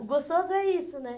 O gostoso é isso, né?